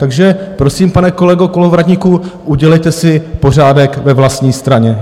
Takže prosím, pane kolego Kolovratníku, udělejte si pořádek ve vlastní straně.